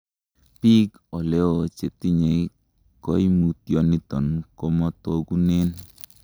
Biik oleo chetinye koimotioniton komotokunen.